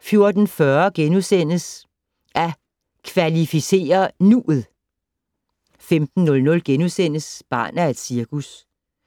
14:40: At kvalificere nu'et! * 15:00: Barn af et cirkus